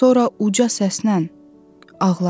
Sonra uca səslə ağla!